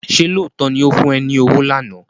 Ṣé lóòótọ́ ni ó fún ẹ ní owó lánàá?